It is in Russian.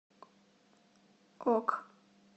ок